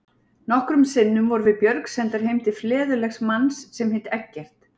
Nokkrum sinnum vorum við Björg sendar heim til fleðulegs manns sem hét Eggert.